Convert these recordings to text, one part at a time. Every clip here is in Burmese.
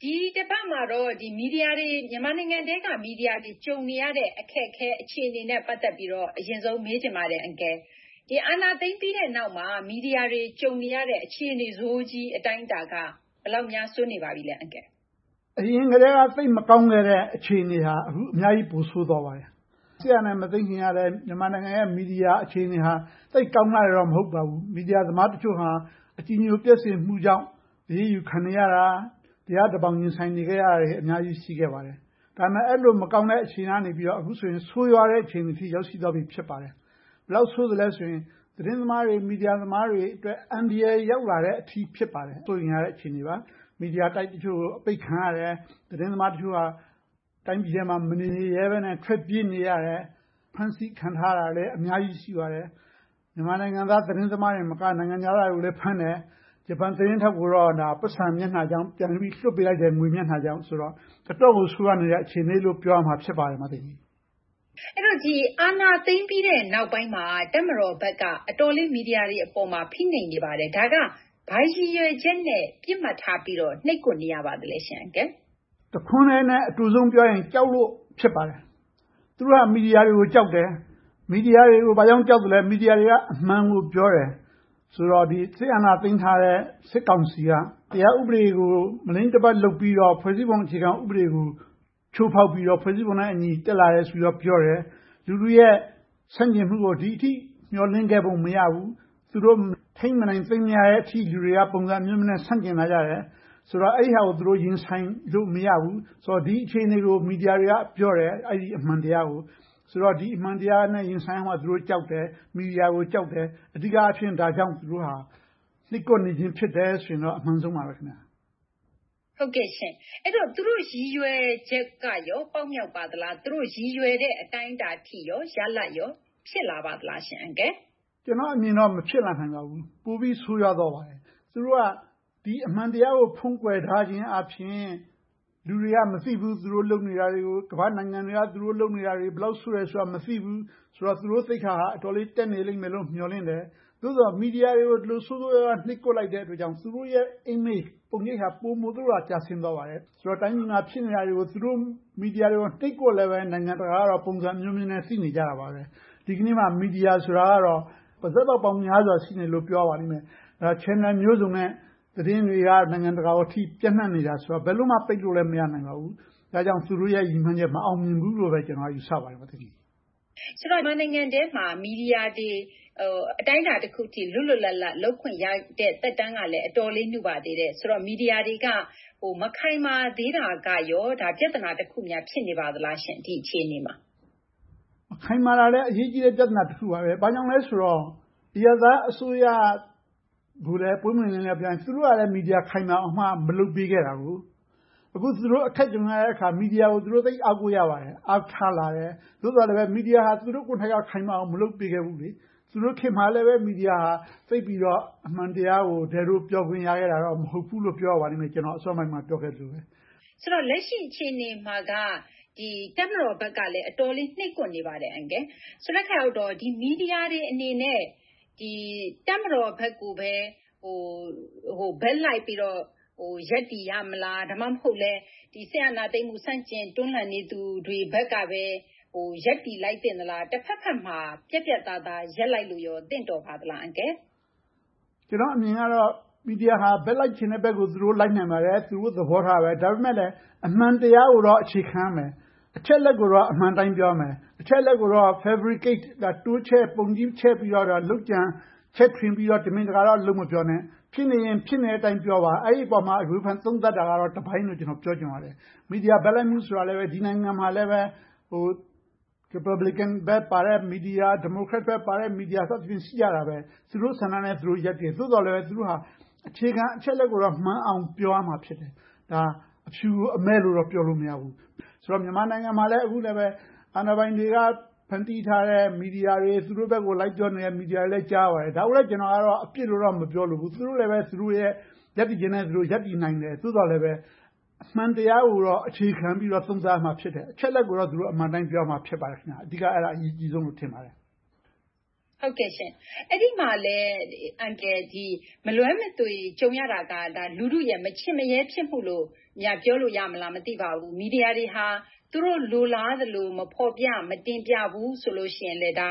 ဒီတပတ်မှာတော့ မြန်မာနိုင်ငံအတွင်းက မီဒီယာတွေ ကြုံနေရတဲ့ အခက်အခဲ၊ အခြေအနေနဲ့ ပတ်သက်ပြီးတော့ အရင်ဆုံးမေးချင်ပါတယ်။ အာဏာသိမ်းပြီးတဲ့နောက်မှာ မီဒီယာတွေ ကြုံနေရတဲ့ အခြေအနေဆိုးကြီး အတိုင်းအတာက ဘယ်လောက်များ ဆိုးနေပါပြီလဲ။ အရင်ကတည်းက သိပ်မကောင်းခဲ့တဲ့ အခြေအနေဟာ အခုအခါမှာ အများကြီးပိုဆိုးသွားပါတယ်။ စစ်အာဏာမသိမ်းခင်ကလဲ မြန်မာနိုင်ငံရဲ့ မီဒီယာအခြေအနေက သိပ်ကောင်းလှတယ် မဟုတ်ပါဘူး။ မီဒီယာသမားတချို့ဟာ အကြည်ညိုပျက်စေမှုကြောင့် အရေးယူခံနေရတာ၊ တရားတဘောင် ရင်ဆိုင်နေရသူတွေ အများကြီး ရှိခဲ့ပါတယ်။ ဒါပေမဲ့ အဲဒီလို မကောင်းတဲ့ အခြေအနေကနေ အခုဆိုရင် ဆိုးဝါးတဲ့ အခြေအနေအထိ ရောက်ရှိသွားပြီ ဖြစ်ပါတယ်။ ဘယ်လောက်ဆိုးသလဲဆိုရင် သတင်းသမားတွေ၊ မီဒီယာသမားတွေအတွက် အန္တရာယ်ရောက်လာတဲ့အထိ စိုးရိမ်ရတဲ့ အခြေအနေပါ။ မီဒီယာတိုက်တချို့ အပိတ်ခံရတယ်။ သတင်းသမားတချို့ဟာ တိုင်းပြည်ထဲမှာ မနေရဲဘဲနဲ့ ထွက်ပြေးနေရတယ်။ ဖမ်းဆီးခံထားရတာလဲ အများကြီး ရှိပါတယ်။ မြန်မာနိုင်ငံသား သတင်းသမားတွေသာမက၊ နိုင်ငံခြားသားသတင်းသမားတွေကိုလည်း ဖမ်းတယ်။ ဂျပန်သတင်းထောက်ကိုတော့ ပိုက်ဆံမျက်နှာကြောင့် ပြန်ပြီးတော့ လွှတ်ပေးလိုက်တယ်။ ငွေမျက်နှာကြောင့်။ အတော့်ကို ဆိုးဝါးနေတဲ့ အခြေအနေလို့ ပြောရလိမ့်မယ်။ အာဏာသိမ်းပြီးတဲ့နောက်ပိုင်းမှာ တပ်မတော်ဘက်က အတော်လေး မီဒီယာတွေပေါ်မှာ ဖိနှိပ်နေပါတယ်။ ဒါက ဘာရည်ရွယ်ချက်နဲ့ ပစ်မှတ်ထားပြီးတော့ နှိပ်ကွက်ထားနေရပါလဲ အန်ကယ်။ တခွန်တည်းနဲ့ အတိုဆုံးဖြေရရင် “ကြောက်လို့” ဖြစ်တယ်။ သူတို့ မီဒီယာတွေကို ကြောက်တယ်။ မီဒီယာတွေကို ဘာကြောင့် ကြောက်လဲဆိုတော့ မီဒီယာတွေက အမှန်ကိုပြောတယ်။ ဆိုတော့ စစ်အာဏာသိမ်းထားတဲ့ စစ်ကောင်စီက တရားဥပဒေကို မလိမ့်တပတ် လုပ်ပြီးတော့၊ ဖွဲ့စည်းပုံအခြေခံဥပဒေကို ချိုးဖောက်ပြီးတော့ ဖွဲ့စည်းပုံနဲ့အညီ တက်လာတယ်လို့ ပြောတယ်။ လူထုရဲ့ ဆန့်ကျင်မှုကို ဒီအထိ မျှော်လင့်ခဲ့ပုံ မရဘူး။ သူတို့ ထိန်းမနိုင်၊ သိမ်းမရတဲ့အထိ လူတွေက ပုံစံအမျိုးမျိုးနဲ့ ဆန့်ကျင်လာကြတယ်။ ဆိုတော့ အဲဒါကို ရင်ဆိုင်လို့ မရဘူး။ ဒီအခြေအနေကို မီဒီယာတွေက ပြောတယ် - အဲဒီအမှန်တရားကို။ ဆိုတော့ ဒီအမှန်တရားနဲ့ သူတို့ရင်ဆိုင်ရမှာကို ကြောက်တယ်။ မီဒီယာကို ကြောက်တယ်။ အဓိကအားဖြင့် ဒါကြောင့် နှိပ်ကွပ်နေခြင်း ဖြစ်တယ်ဆိုရင်တော့ အမှန်ဆုံးပါပဲ။ ဟုတ်ကဲ့ရှင့်။ အဲဒီတော့ သူတို့ရည်ရွယ်ချက်က ပေါက်မြောက်ပါသလား။ သူတို့ ရည်ရွယ်တဲ့ အတိုင်းအတာရလဒ်ကော ဖြစ်လာပါသလားရှင့်။ ကျနော့်အမြင်တော့ မဖြစ်လာနိုင်ပါဘူး။ ပိုပြီးဆိုးရွားသွားပါတယ်။ သူတို့က ဒီအမှန်တရားကို ဖုံးကွယ်ထားခြင်းအားဖြင့် လူတွေက မသိဘူး။ သူတို့လုပ်နေတာတွေ၊ ကမ္ဘာ့နိုင်ငံတွေက သူတို့လုပ်နေတာတွေ ဘယ်လောက်ဆိုးတယ်ဆိုတာကို မသိဘူးဆိုတော့ သူတို့သိက္ခာဟာ အတော်လေးတက်နေလိမ့်မယ်လို့ မျှော်လင့်တယ်။ သို့သော် မီဒီယာတွေကို ဒီလိုဆိုးဆိုးရွားရွား နှိပ်ကွက်လိုက်တဲ့အတွက်ကြောင့် သူတို့ရဲ့ Image ပုံရိပ်ဟာ ပိုမိုလို့ ကျဆင်းသွားပါတယ်။ တိုင်းပြည်မှာ ဖြစ်နေတာတွေကို မီဒီယာတွေကို နှိပ်ကွပ်နေပေမယ့်လဲ နိုင်ငံတကာကတော့ ပုံစံအမျိုးမျိုးနဲ့ သိနေကြပါတယ်။ ဒီကနေ့မှာ မီဒီယာဆိုတာကတော့ ပါးစပ်ပေါက်ပေါင်းများစွာ ရှိနေတယ်လို့ ပြောရပါလိမ့်မယ်။ Channel မျိုးစုံနဲ့ သတင်းတွေက နိုင်ငံတကာအထိ ပျံ့နံှ့နေတာဆိုတော့ ဘယ်လိုမှ ပိတ်လို့လဲ မရနိုင်ပါဘူး။ ဒါကြောင့် သူတို့ရဲ့ ရည်မှန်းချက် မအောင်မြင်ပါဘူးလို့ပဲ ယူဆပါတယ်။ ဆိုတော့ မြန်မာနိုင်ငံထဲမှာ မီဒီယာတွေ အတိုင်းအတာတခုအထိ လွတ်လွတ်လပ်လပ် လုပ်ခွင့်ရတဲ့ သက်တမ်းကလဲ အတော်လေးနုပါသေးတယ်။ ဆိုတော့ မီဒီယာတွေက မခိုင်မာသေးတာကရော ပြဿနာတခုများ ဖြစ်နေပါလား ဒီအခြေအနေမှာ။ မခိုင်မာတာလဲ အရေးကြီးတဲ့ ပြဿနာတခုပါပဲ။ ဘာကြောင့်လဲဆိုတော့ အရပ်သားအစိုးရကိုလည်း ပွင့်ပွင့်လင်းလင်း ပြောရရင် သူတို့ကလဲ မီဒီယာ ခိုင်မာအောင် မလုပ်ပေးခဲ့တာ။ အခု သူတို့အခက်ကြုံရတဲ့အခါ မီဒီယာကို သူတို့သိပ်အားကိုးရပါတယ်။ သူတို့အားထားလာတယ်။ သို့သော် မီဒီယာကို သူတို့ကိုယ်တိုင် ခိုင်မာအောင် မလုပ်ပေးခဲ့ဘူး။ သူတို့ခေတ်မှာလဲ မီဒီယာဟာ သိပ်ပြီးတော့ အမှန်တရားကို ဒဲ့ဒိုးပြောခွင့် မရခဲ့ဘူးလို့ ပြောရပါလိမ့်မယ်။ ဆိုတော့ လက်ရှိအခြေအနေမှာက တပ်မတော်ဘက်ကလဲ အတော်လေး နှိပ်ကွပ်နေပါတယ်။ ဆိုတော့ မီဒီယာတွေနဲ့ တပ်မတော်ဘက်ကိုပဲ ဘက်လိုက်ပြီးတော့ ရပ်တည်ရမလား။ ဒါမှမဟုတ် စစ်အာဏာရှင်စနစ် တွန်းလှန်တော်လှန်နေသူတွေဘက်ကပဲ ရပ်တည်သင့်သလား။ တဘက်ဘက်မှာ ပြတ်ပြတ်သားသား ရပ်တည်လိုက်လို့ သင့်တော်ပါသလား။ ကျနော့်အမြင်ကတော့ မီဒီယာက ဘက်လိုက်ချင်တဲ့ဘက်ကို သူတို့လိုက်နိုင်ပါတယ်။ သူတို့သဘောထားပဲ။ ဒါပေမဲ့လဲ အမှန်တရားကိုတော့ အခြေခံရမယ်။ အချက်အလက်ကိုတော့ အမှန်တိုင်း ပြောရမယ်။ အချက်အလက်ကိုတော့ fabricate တိုးချဲ့ပုံကြီးချဲ့ပြီးတော့ လုပ်ကြံချဲ့ထွင်ပြီးတော့ တမင်တကာတော့ လုပ်မပြောနဲ့ ဖြစ်နေရင် ဖြစ်နေတဲ့အတိုင်း ပြောပါ။ အဲဒီအပေါ် ဝေဖန်သုံးသပ်တာကတော့ တပိုင်းလို့တော့ ပြောချင်ပါတယ်။ မီဒီယာဘက်လိုက်မှုဆိုတာလဲ ဒီနိုင်ငံမှာလဲ ရီပတ်ဘလင်ကန်ဘက်ပါတဲ့ မီဒီယာ၊ ဒီမိုကရက်တစ်ဘက်ပါတဲ့ မီဒီယာ စသည်ဖြင့် ရှိကြတယ်။ သူတို့ဆန္ဒနဲ့ သူတို့ ရပ်တည်ကြတယ်။ သို့သော်လဲ သူတို့က အခြေခံအချက်အလက်ကိုတော့ မှန်အောင်ပြောရမှာ ဖြစ်တယ်။ အဖြူကို အမည်းလို့တော့ ပြောလို့မရဘူး။ ဆိုတော့ မြန်မာနိုင်ငံမှာလဲ အခုဆိုရင် အာဏာပိုင်တွေက ဖန်တီးထားတဲ့ မီဒီယာတွေ။ သူတို့ဘက်ကို လိုက်ပြောနေတဲ့ မီဒီယာတွေကိုလည်း ကြားရပါတယ်။ ဒါကိုလဲ ကျနော်ကတော့ အပြစ်လို့တော့ မပြောလိုဘူး။ သူတို့လဲပဲ သူတို့ရပ်တည်ချက်နဲ့ ရပ်တည်နိုင်တယ်။ သို့သော်လဲပဲ အမှန်တရားကိုတော့ အခြေခံပြီးတော့ သုံးသပ်ရမှာ ဖြစ်တယ်။ အချက်အလက်ကိုတော့ အမှန်အတိုင်း ပြောရမှာ ဖြစ်ပါတယ်။ အဓိက အဲဒါအရေးကြီးဆုံးလို့ ထင်ပါတယ်။ အဲဒီမှာလဲ မလွဲမသွေကြုံရတာက လူထုရဲ့ မချင့်မရဲ ဖြစ်မှုလို့ ပြောရမလား မသိပါဘူး။ မီဒီယာတွေဟာ သူတို့လိုလားသလို့ မဖော်ပြ၊ မတင်ပြဘူးဆိုရင်လဲ ဒါ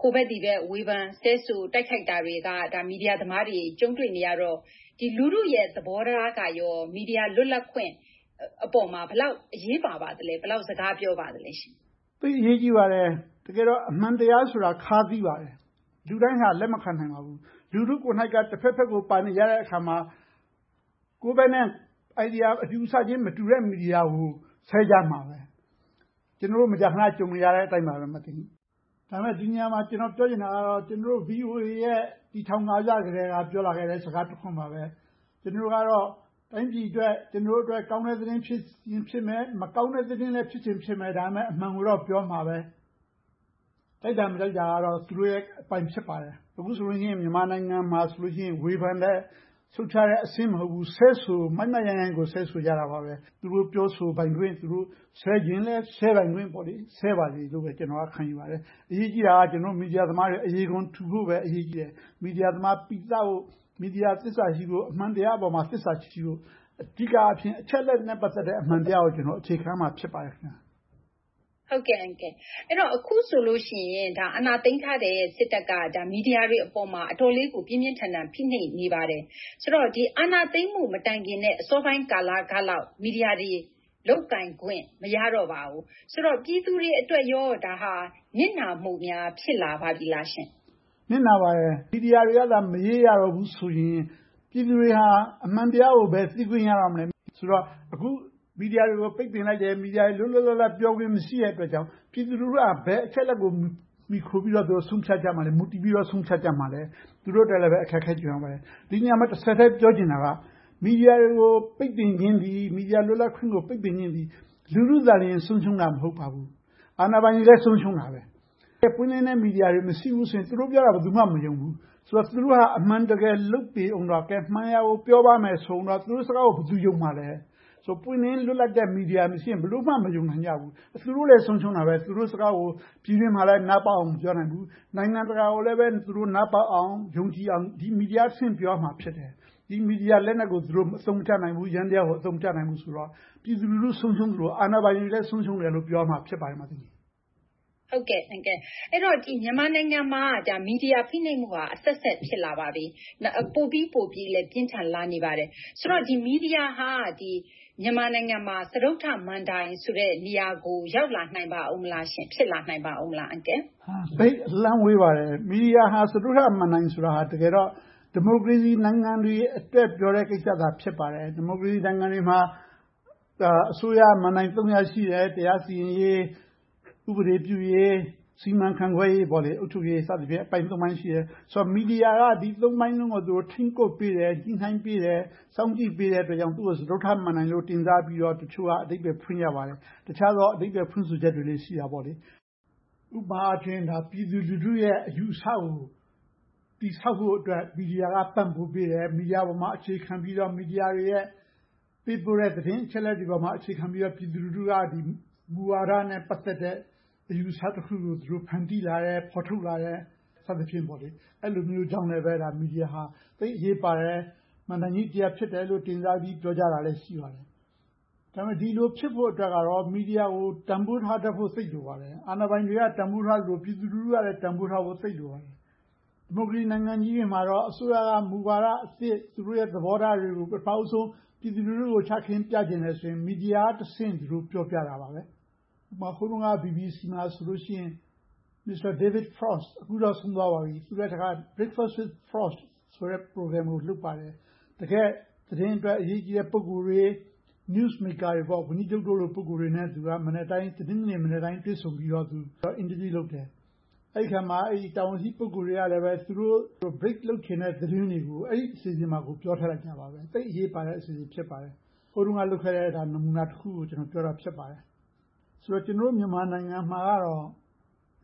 ဟာ ဟိုဘက်ဒီဘက် ဝေဖန်ဆဲဆို တိုက်ခိုက်တာတွေကို မီဒီယာသမားတွေ ကြုံတွေ့နေရတော့ လူထုရဲ့သဘောထားက မီဒီယာလွတ်လပ်ခွင့်အပေါ် ဘယ်လောက်အရေးပါပါသလဲ။ ဘယ်လောက်စကားပြောပါသလဲရှင့်။ သိပ်အရေးကြီးပါတယ်။ တကယ်တော့ အမှန်တရားဆိုတာ ခါးသည်းပါတယ်။ လူတိုင်းဟာ လက်မခံနိုင်ပါဘူး။ လူထုကိုယ်တိုင်က တဘက်ဘက်ကို ပါနေကြတဲ့အခါမှာ ကိုယ့်ဘက်နဲ့ အတွေးအခေါ် Idea မတူ၊ အယူအဆချင်း မတူတဲ့ မီဒီယာကို ဆဲကြမှာပဲ။ ကျနော်တို့ မကြာခဏ ကြုံနေရတဲ့အတိုင်းပါပဲ။ ဒါပေမဲ့ ဒီနေရာမှာ ကျနော်ပြောချင်တာကတော့ ကျနော်တို့ VOA တည်ထောင်စကတည်းက ပြောလာခဲ့တဲ့ စကားတခွန်းပါပဲ - ကျနော်တို့ကတော့ တိုင်းပြည်အတွက်၊ ကျနော်တို့အတွက် ကောင်းတဲ့သတင်း ဖြစ်ချင်ဖြစ်မယ်၊ မကောင်းတဲ့သတင်းလဲ ဖြစ်ချင်ဖြစ်မယ်။ ဒါပေမဲ့ အမှန်ကိုတော့ ပြောမှာပဲ။ ကြိုက်တာမကြိုက်တာကတော့ သူတို့ရဲ့အပိုင်း ဖြစ်ပါတယ်။ အခုဆိုရင် မြန်မာနိုင်ငံမှာဆိုရင် ဝေဖန်တဲ့၊ ရှုတ်ချတဲ့အဆင့်မဟုတ်ဘူး ဆဲဆို၊ မိုက်မိုက်ရိုင်းရိုင်းကို ဆဲဆိုကြတာပဲ။ သူတို့ပြောဆိုပိုင်ခွင့်၊ ဆဲချင်လဲဆဲဆိုခွင့်ရှိတော့ ဆဲပါစေလို့ပဲ ခံယူပါတယ်။ အရေးကြီးတာက ကျနော်တို့ မီဒီယာသမားတွေ အရေခွံထူဖို့ပဲ အရေးကြီးတယ်။ မီဒီယာသမား ပီသဖို့၊ မီဒီယာအပေါ် သစ္စာရှိဖို့။ အမှန်တရားအပေါ် သစ္စာရှိဖို့ အဓိကအားဖြင့် အချက်အလက်တွေနဲ့ ပတ်သက်တဲ့ အမှန်တရားကို အခြေခံရမှာ ဖြစ်ပါတယ်။ အဲဒီတော့ အခုဆိုလို့ရှိရင် အာဏာသိမ်းထားတဲ့ စစ်တပ်က မီဒီယာတွေပေါ် အတော်လေးကို ပြင်းပြင်းထန်ထန် ဖိနှိပ်နေပါတယ်။ ဆိုတော့ အာဏာသိမ်းမှု မတိုင်မီ အစောပိုင်းကာလလောက် မီဒီယာတွေ လုပ်ပိုင်ခွင့် မရတော့ပါဘူး။ ဆိုတော့ ပြည်သူတွေအတွက် ဒါက နစ်နာမှုများ ဖြစ်လာပါပြီလားရှင့်။ နစ်နာပါတယ်။ မီဒီယာတွေကသာ မရေးရတော့ဘူးဆိုရင် ပြည်သူတွေဟာ အမှန်တရားကိုပဲ သိခွင့်ရတော့မယ်ဆိုတော့ အခုမီဒီယာတွေကို ပိတ်ပင်လိုက်တယ်။ မီဒီယာတွေ လွတ်လွတ်လပ်လပ် ပြောခွင့်မရှိတဲ့ အတွက်ကြောင့် ပြည်သူလူထုက ဘယ်အချက်အလက်ကို မှီခိုပြီးတော့ မူတည်ပြီးတော့ ဆုံးဖြတ်ကြမလဲ။ သူတို့အတွက်လဲ အခက်အခဲ ကြုံရပါတယ်။ ဒီနေရာမှာ တဆက်တည်း ပြောချင်တာက မီဒီယာတွေကို ပိတ်ပင်ခြင်းသည်၊ မီဒီယာလွတ်လပ်ခွင့်ကို ပိတ်ပင်ခြင်းသည် လူထုသာသည် ဆုံးရှုံးတာ မဟုတ်ပါဘူး။ အာဏာပိုင်တွေလည်း ဆုံးရှုံးတာပဲ။ မီဒီယာတွေ မရှိဘူးဆိုရင် သူတို့ပြောတာကို ဘယ်သူမှ မယုံဘူး။ ဆိုတော့ သူတို့ဟာ အမှန်တကယ် လုပ်ပေအုံးတော့၊ မှန်ရာကို ပြောပါမယ်ဆိုအုံးတော့ သူတို့စကားကို ဘယ်သူယုံမှာလဲ။ ပွင့်လင်းလွတ်လပ်တဲ့ မီဒီယာမရှိရင် ဘယ်လိုမှ မယုံနိုင်ကြဘူး။ သူတို့လည်း ဆုံးရှုံးတာပဲ။ သူတို့စကားကို ပြည်တွင်းမှာလဲ နားပေါက်အောင် မပြောနိုင်ဘူး။ နိုင်ငံတကာကိုလည်း နားပေါက်အောင် ယုံကြည်အောင် မီဒီယာကတဆင့် ပြောရမှာ ဖြစ်တယ်။ မီဒီယာလက်နက်ကို သူတို့အသုံးမချနိုင်ဘူး။ ယန္တရားကို အသုံးမချနိုင်ဘူးဆိုတော့ ပြည်သူလူထု ဆုံးရှုံးသလို၊ အာဏာပိုင်တွေလည်း ဆုံးရှုံးတယ်လို့ ပြောရမှာ ဖြစ်ပါတယ်။ အဲဒီတော့ မြန်မာနိုင်ငံမှာ မီဒီယာ ဖိနှိပ်မှုဟာ ခေတ်အဆက်ဆက် ဖြစ်လာပါပြီ။ ပိုပြီးပိုပြီးတော့ ပြင်းထန်လာနေပါတယ်။ ဆိုတော့ မီဒီယာဟာ မြန်မာနိုင်ငံမှာ စတုတ္ထမဏ္ဍိုင်ဆိုတဲ့ နေရာကို ရောက်လာနိုင်ပါ့အုံးမလား။ ဖြစ်လာနိုင်ပါမလား။ သိပ်အလှမ်းဝေးပါတယ်။ မီဒီယာဟာ စတုတ္ထမဏ္ဍိုင်ဆိုတာ တကယ်တော့ ဒီမိုကရေစီနိုင်ငံတွေအတွက် ပြောတဲ့ ကိစ္စသာ ဖြစ်ပါတယ်။ ဒီမိုကရေစီနိုင်ငံတွေမှာ အစိုးရက မဏ္ဍိုင် ရပ် ရှိတယ်။ တရားစီရင်ရေး၊ ဥပဒေပြုရေး၊ စီမံခန့်ခွဲရေး အုပ်ချုပ်ရေးဆိုပြီးတော့ အပိုင်း ပိုင်း ရှိတယ်။ ဆိုတော့ မီဒီယာက ဒီ ပိုင်းလုံးကို ထိန်းကွပ်ပေးတယ်။ ညှိနှိုင်းပေးတယ်။ စောင့်ကြည့်ပေးတဲ့အတွက် သူကို စတုတ္ထမဏ္ဍိုင်လို့ တင်စားပြီးတော့ တချို့က အဓိပ္ပါယ်ဖွင့်ကြပါတယ်။ တခြားသော အဓိပ္ပါယ်ဖွင့်ဆိုချက်တွေလည်း ရှိတာပေါ့။ ဥပမာအားဖြင့် ပြည်သူလူထုရဲ့ အယူအဆကို တည်ဆောက်ဖို့အတွက် မီဒီယာက ပံ့ပိုးပေးတယ်။ မီဒီယာပေါ် အခြေခံပြီးတော့ မီဒီယာတွေရဲ့ ပေးပို့တဲ့သတင်းအချက်အလက်တွေပေါ် အခြေခံပြီးတော့ ပြည်သူလူထုက မူဝါဒတွေနဲ့ ပတ်သက်တဲ့ အယူအဆတခုကို သူတို့ဖန်တီးလာတယ်။ ဖော်ထုတ်လာတယ် စသည်ဖြင့် အဲဒီလိုမျိုးကြောင့် မီဒီယာဟာ သိပ်အရေးပါတဲ့ မဏ္ဍိုင်ကြီးတရပ်အဖြစ် တင်စားပြီး ပြောကြတာလည်း ရှိပါတယ်။ ဒါပေမဲ့ ဒီလိုဖြစ်ဖို့အတွက် မီဒီယာကို တန်းဖိုးထားတတ်ဖို့ သိပ်လိုပါတယ်။ အာဏာပိုင်တွေက တန်းဖိုးထားသလို၊ ပြည်သူလူထုကလဲ တန်းဖိုးထားဖို့ သိပ်လိုပါတယ်။ ဒီမိုကရေစီ နိုင်ငံကြီးတွေမှာတော့ အစိုးရက မူဝါဒအသစ်၊ သူတို့ရဲ့ သဘောထားတွေကို ပထမဦးဆုံး ပြည်သူလူထုကို ချခင်းပြချင်တယ်ဆိုရင် မီဒီယာကတဆင့် ပြောကြတာပါပဲ။ ဥပမာ ဟိုတုန်းက BBC မှာဆိုရင် Mr. David Frost - အခုတော့ ဆုံးသွားပါပြီ။ Breakfast with Frost ဆိုတာကို လုပ်ပါတယ်။ တကယ့် သတင်းအတွက် အရေးကြီးတဲ့ ပုဂ္ဂိုလ်တွေ၊ Newsmakers ဝန်ကြီးချုပ်လို ပုဂ္ဂိုလ်တွေနဲ့ တနင်္ဂနွေမနက်တိုင်း တွေ့ဆုံပြီးတော့ အင်တာဗျူးလုပ်တယ်။ အဲဒီအခါမှာ တာဝန်ရှိပုဂ္ဂိုလ်တွေကလည်း သူတို့ ထုတ်ပြန်ချင်တဲ့ Break လုပ်ချင်တဲ့ သတင်းတွေကို အဲဒီအစီအစဉ်မှာ ပြောကြတယ်။ သိပ်အရေးပါတဲ့ အစီအစဉ် ဖြစ်ပါတယ်။ ဟိုတုန်းက လုပ်ခဲ့တဲ့ နမူနာတခုကို ပြောတာ ဖြစ်ပါတယ်။ ဆိုတော့ ကျနော်တို့ မြန်မာနိုင်ငံမှာကတော့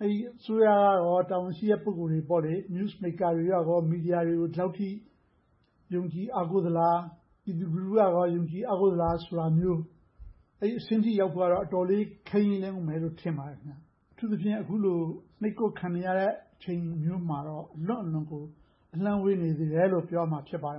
အစိုးရနဲ့ တာဝန်ရှိတဲ့ ပုဂ္ဂိုလ်တွေ Newsmakers တွေက မီဒီယာကို ယုံကြည်အားကိုးသလား။ ပြည်သူလူထုကရော ယုံကြည်အားကိုးသလားဆိုတာမျိုး အဲဒီအဆင့်ထိရောက်ဖို့ကို အတော်လေး ခဲယဉ်းအုံးမယ်လို့ ထင်ပါတယ်။ အထူးသဖြင့် အခုလို နှိပ်ကွပ်ခံနေရတဲ့ အချိန်မျိုးမှာတော့ အလွန့်အလွန်ကို အလှမ်းဝေးနေသေးတယ်လို့ ပြောရမှာ ဖြစ်ပါတယ်